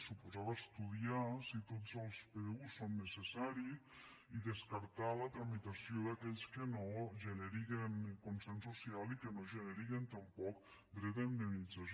suposava estudiar si tots els pdu són necessaris i descartar la tramitació d’aquells que no generen consens social i que no generen tampoc dret a indemnització